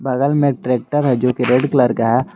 बगल में ट्रैक्टर है जो की रेड कलर का है।